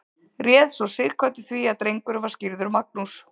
réð svo sighvatur því að drengurinn var skírður magnús